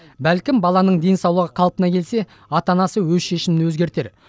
бәлкім баланың денсаулығы қалпына келсе ата анасы өз шешімін өзгертер